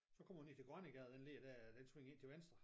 Så kommer ud ned til Grønnegade den ligger dér og den svinger ind til venstre